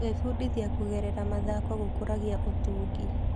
Gwĩbundithia kũgerera mathako gũkũragia ũtungi.